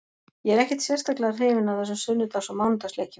Ég er ekkert sérstaklega hrifinn af þessum sunnudags og mánudags leikjum.